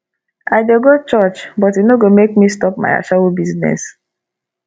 i dey go church but e no go make me stop my ashawo business